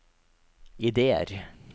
ideer